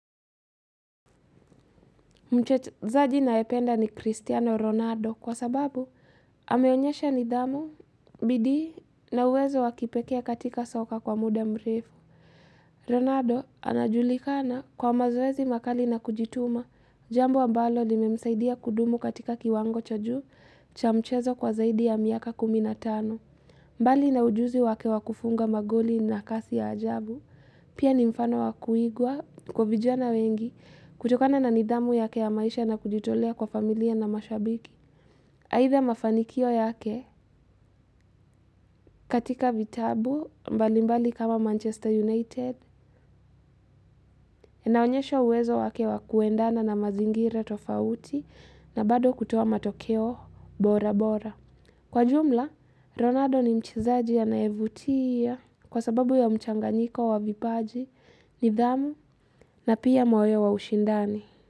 Mchezaji ninayependa ni Cristiano Ronaldo kwa sababu ameonyesha nidhamu bidii na uwezo wakipekee katika soka kwa muda mrefu. Ronaldo anajulikana kwa mazoezi makali na kujituma, jambo ambalo limemsaidia kudumu katika kiwango cha juu cha mchezo kwa zaidi ya miaka kumi na tano. Mbali na ujuzi wake wakufunga magoli na kasi ya ajabu, pia ni mfano wa kuigwa kwa vijana wengi kutokana na nidhamu yake ya maisha na kujitolea kwa familia na mashabiki. Either mafanikio yake katika vitabu mbali mbali kama Manchester United, inaonyesha uwezo wake wakuendana na mazingira tofauti na bado kutoa matokeo bora bora. Kwa jumla, Ronaldo ni mchezaji anayevutia kwa sababu ya mchanganyiko wa vipaji, nidhamu na pia moyo wa ushindani.